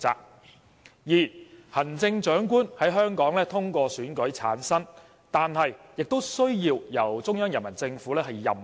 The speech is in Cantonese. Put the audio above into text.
第二，行政長官在香港通過選舉產生，但亦需要由中央人民政府任命。